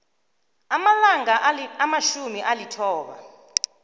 amalanga amatjhumi alithoba